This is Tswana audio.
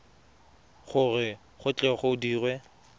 gore go tle go dirwe